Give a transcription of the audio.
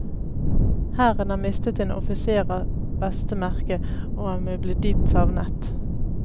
Hæren har mistet en offiser av beste merke, og han vil bli dypt savnet.